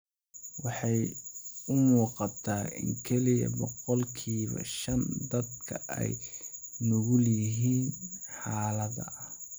Waxay u muuqataa in kaliya boqolkiba shan dadka ay u nugul yihiin xaaladda.